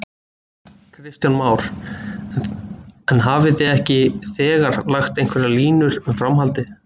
Kristján Már: En hafið þið ekki þegar lagt einhverjar línur um framhaldið?